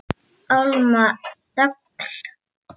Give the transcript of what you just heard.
Alma Þöll.